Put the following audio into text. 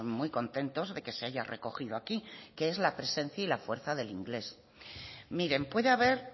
muy contentos de que se haya recogido aquí que es la presencia y la fuerza del inglés miren puede haber